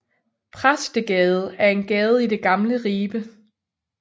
Præstegade er en gade i det gamle Ribe